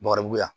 Bakaribu ya